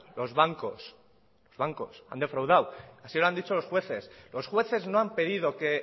los bancos los bancos han defraudado así lo han dicho los jueces los jueces no han pedido que